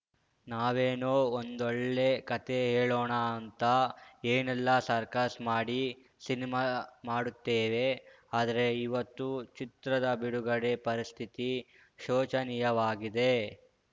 ನಾವೇನೋ ಒಂದೊಳ್ಳೆ ಕತೆ ಹೇಳೋಣ ಅಂತ ಏನೆಲ್ಲ ಸರ್ಕಸ್‌ ಮಾಡಿ ಸಿನಿಮಾ ಮಾಡುತ್ತೇವೆ ಆದ್ರೆ ಇವತ್ತು ಚಿತ್ರದ ಬಿಡುಗಡೆ ಪರಿಸ್ಥಿತಿ ಶೋಚನೀಯವಾಗಿದೆ